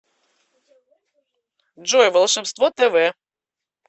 джой волшебство тэ вэ